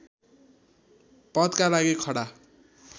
पदका लागि खडा